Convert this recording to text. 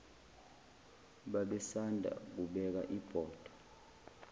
babesanda kubeka ibhodwe